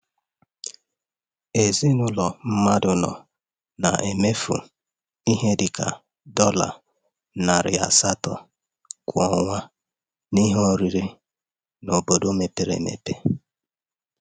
Ezinụlọ nke mmadụ anọ na-emefu ihe dị ka um dọla ($) narị asatọ kwa ọnwa n'ihe um oriri n'obodo um mepere emepe.